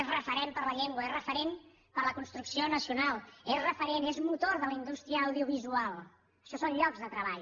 és referent per a la llengua és referent per a la construcció nacional és referent és motor de la indústria audiovisual això són llocs de treball